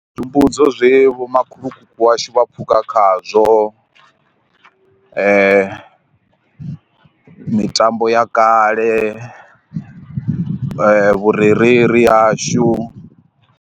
Zwi humbudzo zwe vho makhulukuku washu vha phukha khazwo mitambo ya kale vhurereli yashu.